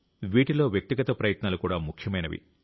వీటిలో వ్యక్తిగత ప్రయత్నాలు కూడా ముఖ్యమైనవి